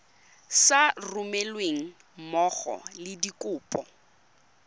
sa romelweng mmogo le dikopo